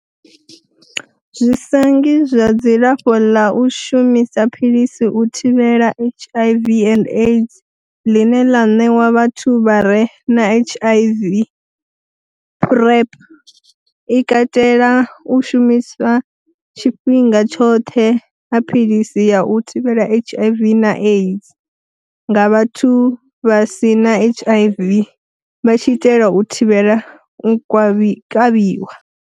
Zwi sa ngi zwa dzilafho ḽa u shumisa philisi u thivhela HIV and AIDS ḽine ḽa ṋewa vhathu vhare na HIV, PrEP i katela u shumiswa tshifhinga tshoṱhe ha philisi ya u thivhela HIV na AIDS nga vhathu vha si na HIV vha tshi itela u thivhela u kavhiwa.